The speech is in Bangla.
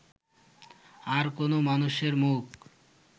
আর কোনো মানুষের মুখ